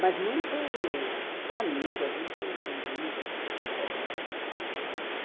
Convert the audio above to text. Mas muito amigas, muito bonitas, muito corretas, enfim.